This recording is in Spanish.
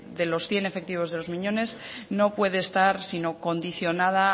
de los cien efectivos de los miñones no puede estar sino condicionada